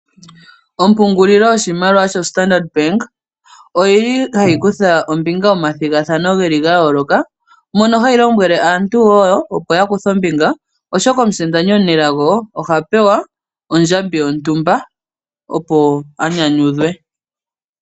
Ompungulilo yoshimaliwa shoStandard Bank oyili hayi kutha ombinga momathigathano gayooloka , mono hayi lombwele aantu wo opo yakuthe ombinga oshoka omusindani omunelago oha pewa ondjambi yontumba opo anyanyudhwe.